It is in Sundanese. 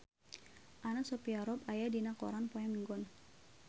Anna Sophia Robb aya dina koran poe Minggon